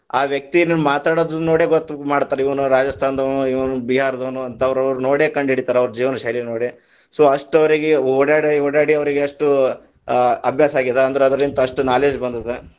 ಆ ವ್ಯಕ್ತಿ ಮಾತಾಡೊದನ್ನ ನೋಡೆ ಗೋತ್ತ ಮಾಡತಾರ, ಇವನು ರಾಜಸ್ತಾನದವನು, ಇವನು ಬಿಹಾರದವನು, ಅವ್ವರ್ನ ನೋಡೇ ಕಂಡಹಿಡಿತಾರ ಅವರ ಜೀವನ ಶೈಲಿ ನೋಡೇ, so ಅಷ್ಟ ಅವ್ರಿಗೆ ಓಡ್ಯಾಡಿ ಓಡ್ಯಾಡಿ ಅವರಿಗೆ ಅಷ್ಟು, ಆ ಅಭ್ಯಾಸ ಆಗೇದ ಅಂದ್ರ ಅದರಲಿಂತ ಅಷ್ಟ knowledge ಬಂದೆದ.